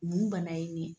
Mun bana ye nin ye